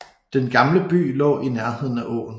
Den gamle by lå i nærheden af åen